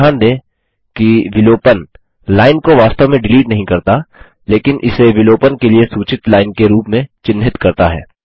ध्यान दें कि विलोपन डिलीशन लाइन को वास्तव में डिलीट नहीं करता लेकिन इसे विलोपन के लिए सूचित लाइन के रूप में चिन्हित करता है